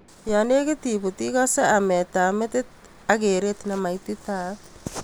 Yanekit ibut ikosei amet ab metit ak keret nemaititaat.